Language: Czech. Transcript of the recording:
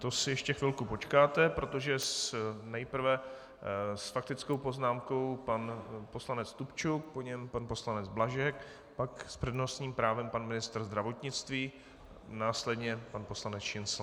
To si ještě chvilku počkáte, protože nejprve s faktickou poznámkou pan poslanec Stupčuk, po něm pan poslanec Blažek, pak s přednostním právem pan ministr zdravotnictví, následně pan poslanec Šincl.